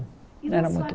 Não era muito